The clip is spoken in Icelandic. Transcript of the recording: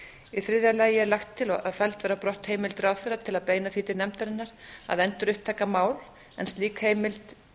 í þriðja lagi er lagt til og felldar á brott heimild ráðherra til að beina því til nefndarinnar að endurupptaka mál en slík heimild